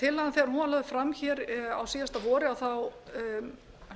tillagan þegar hún var lögð fram hér á síðasta vori